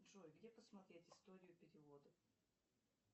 джой где посмотреть историю переводов